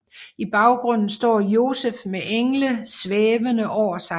I baggrunden står Josef med engle svævende over sig